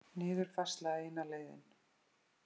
Niðurfærsla eina leiðin